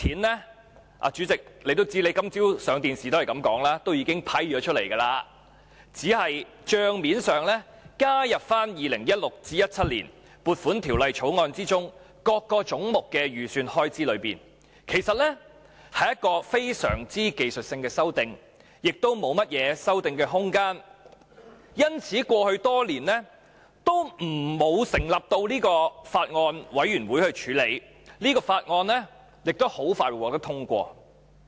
代理主席，正如你今早接受電視台訪問時也說，這是已批出的款項，只是帳面上加入 2016-2017 年度的撥款條例草案中各總目的預算開支內，屬非常技術性的修訂，亦沒有甚麼修訂空間，所以過去多年也沒有成立法案委員會處理，而這項法案也很快會獲得通過。